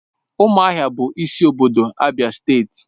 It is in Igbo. Ụmụahia bụ isi obodo Abia steeti.